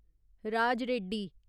Raj Reddy